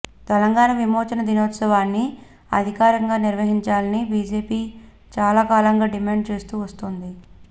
తెలంగాణ విమోచన దినోత్సవాన్ని అధికారికంగా నిర్వహించాలని బిజెపి చాలా కాలంగా డిమాండ్ చేస్తూ వస్తోంది